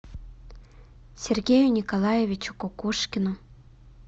сергею николаевичу кукушкину